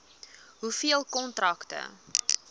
hoeveel kontrakte